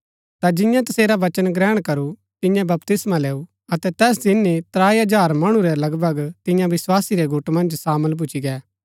ता जिन्यैं तसेरा वचन ग्रहण करू तिन्ये बपतिस्मा लैऊ अतै तैस ही दिन त्राई हजार मणु रै लगभग तियां विस्वासी रै गुट मन्ज सामल भूच्ची गै